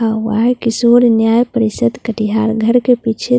का हुआ है किशोर न्याय परिषद कटिहार घर के पीछे--